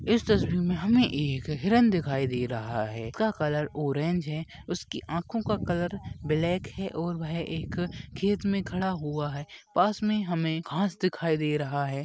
इस तस्वीर में हमें एक हिरन दिखाई दे रहा है उसका कलर ऑरेंज है उसकी आँखों का कलर ब्लेक है और वह एक खेत में खड़ा हुआ है पास में हमें घास दिखाई दे रहा है ।